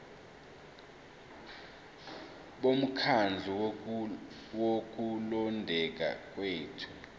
bomkhandlu wokulondeka kwethu